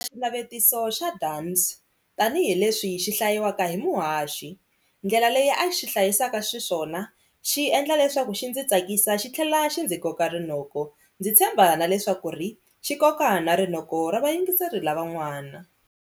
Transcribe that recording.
Xinavetiso xa Dunns tanihileswi xi hlayiwaka hi muhaxi ndlela leyi a xi hlayisaka xiswona xi endla leswaku xi ndzi tsakisa xi tlhela xi ndzi koka rinoko ndzi tshemba na leswaku ri xi koka na rinoko ra vayingiseri lavan'wana.